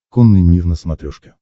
конный мир на смотрешке